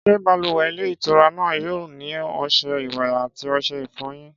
Ṣé balùwẹ̀ ilé ìtura náà yóò ní ọṣẹ ìwẹ̀ àti ọṣẹ ìfọyín?